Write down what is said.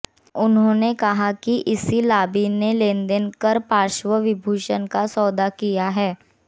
उन्होंने कहा कि इसी लाबी ने लेनदेन कर पद्मविभूषण का सौदा किया है